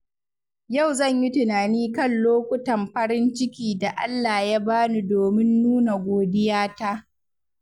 Yau zan yi tunani kan lokutan farin ciki da Allah ya bani domin nuna godiyata.